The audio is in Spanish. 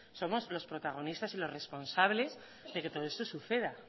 somos los protagonistas y los responsables de que todo esto suceda